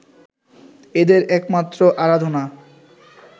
এদের একমাত্র আরাধনা